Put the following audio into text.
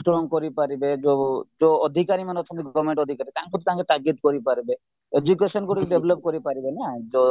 strong କରିପାରିବେ ଯୋଉ ଯୋଉ ଅଧିକାର ମାନେଅଛନ୍ତି government ଅଧିକାରୀ ତାଙ୍କୁ ତାଗିଦ କରିପାରିବେ education ଗୁଡ଼ିକ develop କରିପାରିବେ ନା ତ